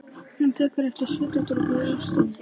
Hún tekur eftir svitadropa í óstinni.